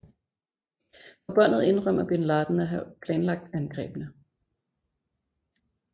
På båndet indrømmer bin Laden at have planlagt angrebene